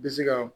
Bɛ se ka